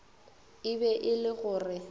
e be e le gore